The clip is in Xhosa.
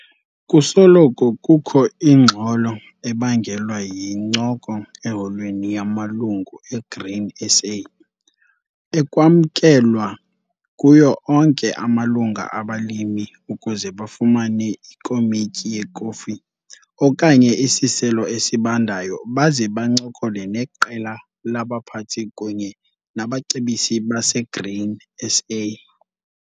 Kusoloko kukho ingxolo ebangelwa yincoko eholweni yamaLungu eGrain SA, ekwamkelwa kuyo onke amalungu abalimi ukuze bafumane ikomityi yekofu okanye isiselo esibandayo baze bancokole neqela labaphathi kunye nabacebisi baseGrain SA.